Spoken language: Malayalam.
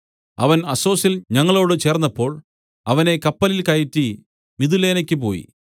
അവൻ അസ്സൊസിൽ ഞങ്ങളോടു ചേർന്നപ്പോൾ അവനെ കപ്പലിൽ കയറ്റി മിതുലേനയിലേക്ക് പോയി